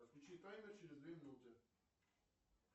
отключи таймер через две минуты